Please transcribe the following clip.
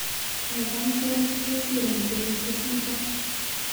Kaikai ker chikesir eng teputiet nito.